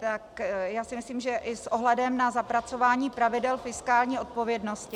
Tak já si myslím, že i s ohledem na zapracování pravidel fiskální odpovědnosti...